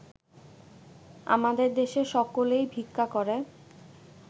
আমাদের দেশে সকলেই ভিক্ষা করে